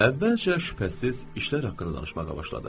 Əvvəlcə şübhəsiz işlər haqqında danışmağa başladıq.